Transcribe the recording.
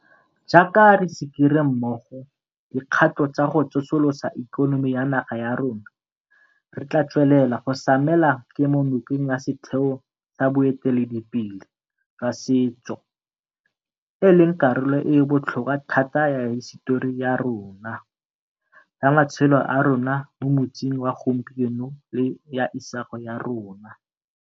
Jaaka re sikere mmogo dikgato tsa go tsosolosa ikonomi ya naga ya rona, re tla tswelela go samela kemonokeng ya setheo sa boiteledipele jwa setso, e leng karolo e e botlhokwa thata ya hisetori ya rona, ya matshelo a rona mo motsing wa gompieno le ya isago ya rona.